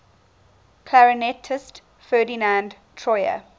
clarinetist ferdinand troyer